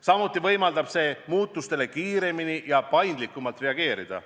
Samuti võimaldab see muutustele kiiremini ja paindlikumalt reageerida.